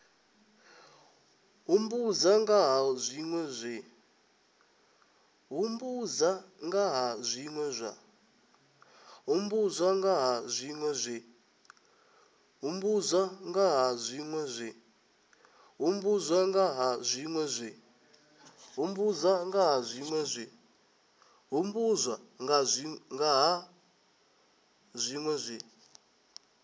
humbudza nga ha zwinwe zwe